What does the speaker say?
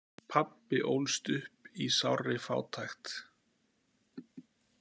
Pabbi ólst upp í sárri fátækt.